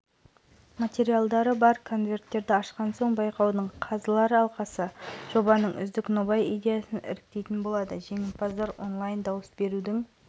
астана қаласының туристік символы жобасының үздік нобай-идеясына жарияланған ашық республикалық байқауға қатысуға өтініштерді қабылдау аяқталды деп хабарлайды елорда әкімінің баспасөз қызметіне